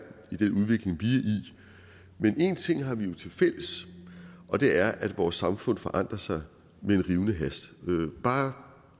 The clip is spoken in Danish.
i men en ting har vi jo tilfælles og det er at vores samfund forandrer sig med en rivende hast bare